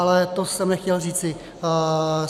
Ale to jsem nechtěl říci.